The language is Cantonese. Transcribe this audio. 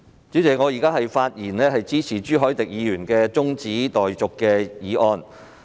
主席，我發言支持朱凱廸議員提出的中止待續議案。